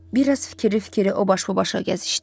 Bir az fikirli-fikirli o baş bu başa gəzişdi.